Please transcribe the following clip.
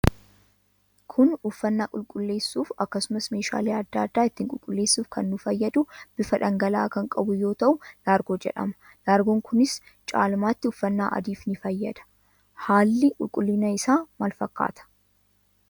Kun uffannaa qulqulleessuuf akkasumas meesgaale adda adda itti qulqulleessuf kan nuu fayyadu bifa dhangala'aa kan qabu yoo tahuu laargoo jedhama. Laargon kunis caalmatti uffanna adiif ni fayyada. Haalli qulqullina isa maal fakkaata?